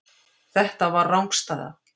Þetta var rangstæða.